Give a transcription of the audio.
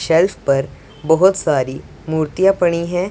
Self पर बहोत सारी मूर्तियां पड़ी हैं।